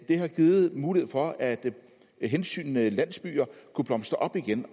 det har givet mulighed for at hensygnende landsbyer kunne blomstre op igen